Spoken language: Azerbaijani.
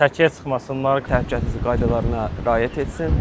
Səkiyə çıxmasınlar, təhlükəsizlik qaydalarına riayət etsin.